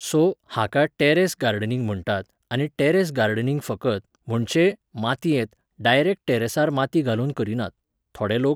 So, हाका terrace gardening म्हणटात आनी टॅरॅस गार्डनिंग फकत, म्हणचे, मातयेंत, डायरेक्ट टॅरॅसार माती घालूनच करिनात. थोडे लोक